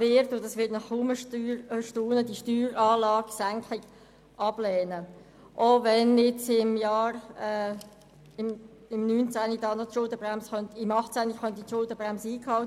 wird, was Sie kaum erstaunen wird, die Senkung der Steueranlage ablehnen, auch wenn im Jahr 2018 die Schuldenbremse eingehalten werden könnte.